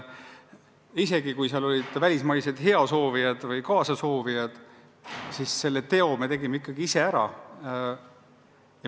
Isegi kui olid välismaised heasoovijad või kaasasoovijad, siis selle teo me tegime ikkagi ise ära.